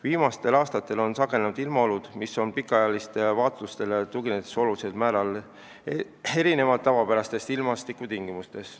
Viimastel aastatel on sagenenud ilmaolud, mis pikaajalistele vaatlustele tuginedes olulisel määral erinevad tavapärastest ilmastikutingimustest.